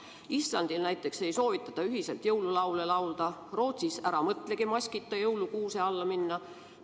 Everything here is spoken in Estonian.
Islandil näiteks ei soovitata ühiselt jõululaule laulda, Rootsis ära mõtlegi maskita jõulukuuse alla minna.